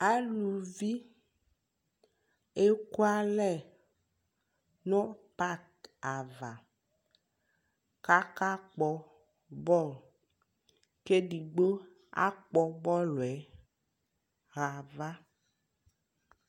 alʋvi ɛkʋ ala nʋ parki aɣa kʋ aka kpɔ ball kʋ ɛdigbɔ akpɔ bɔlʋɛ ha aɣa